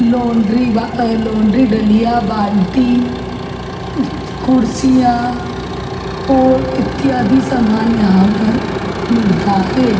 Laundry व laundry डलिया बाल्टी कुर्सियां और इत्यादि सामान यहां पर मिलता है।